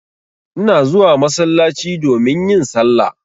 Ina zuwa masallaci domin yin salla.